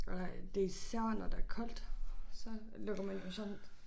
Ej det især når der koldt så lukker man jo sådan